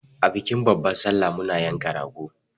A bikin babban sallah muna yanka rago.